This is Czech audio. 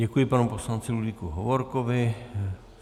Děkuji panu poslanci Ludvíku Hovorkovi.